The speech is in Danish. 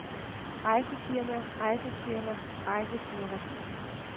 rejsefirma rejsefirma rejsefirma